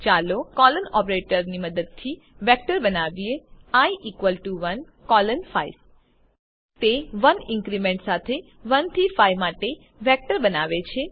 ચાલો કોલોન ઓપરેટરની મદદથી વેક્ટર બનાવીએ આઇ ઇકવલ ટુ 1 કોલોન 5 તે 1 ઇન્ક્રીમેન્ટ સાથે 1 થી 5 માટે વેક્ટર બનાવે છે